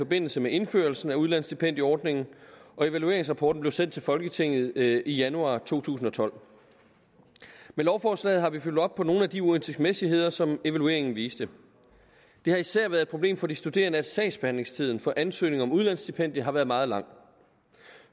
forbindelse med indførelsen af udlandsstipendieordningen og evalueringsrapporten blev sendt til folketinget i januar to tusind og tolv med lovforslaget har vi fulgt op på nogle af de uhensigtsmæssigheder som evalueringen viste det har især været et problem for de studerende at sagsbehandlingstiden for ansøgning om udlandsstipendium har været meget lang